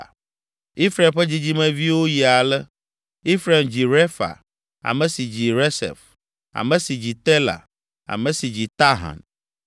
Efraim ƒe dzidzimeviwo yi ale: Efraim dzi Refa, ame si dzi Resef, ame si dzi Tela ame si dzi Tahan,